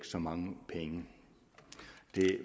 så mange penge det